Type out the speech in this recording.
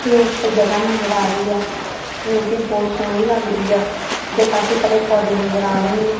ਇਹ ਇੱਕ ਜਗਹਾ ਨਜ਼ਰ ਆ ਰਹੀ ਆ ਜੋ ਕਿ ਬਹੁਤ ਸੋਹਣੀ ਲੱਗਦੀ ਆ ਤੇ ਕਾਫੀ ਸਾਰੇ ਪੌਦੇ ਨਜ਼ਰ ਆ ਰਹੇ ਨੇ।